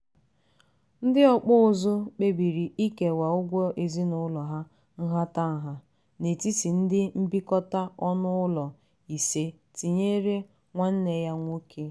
ndị ọkpụ ụzụ kpebiri ikewa ụgwọ ezinụlọ ha nhatanha n'etiti ndị mbikọta ọnụụlọ ise tinyere nwanne ya nwoke.